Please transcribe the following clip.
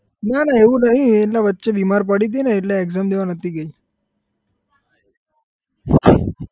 ના ના એવું નહી એટલે વચ્ચે બીમાર પડી હતી ને એટલે exam દેવા નહતી ગઈ